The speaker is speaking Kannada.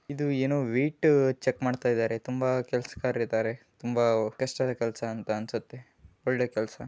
ಇದು ಏನೋ ವೆಯ್ಟ್ ಚೆಕ್ ಮಾಡ್ತಾ ಇದ್ದಾರೆ ತುಂಬಾ ಕೆಲಸಗಾರರು ಇದ್ದಾರೆ ತುಂಬಾ ಕಷ್ಟದ ಕೆಲಸ ಅಂತ ಅನ್ಸುತ್ತೆ ಒಳ್ಳೆ ಕೆಲಸ .